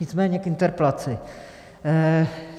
Nicméně k interpelaci.